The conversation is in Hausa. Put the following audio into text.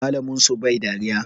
Malamin su bai dariya